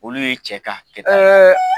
Olu ye cɛ ka hakɛ ta, ,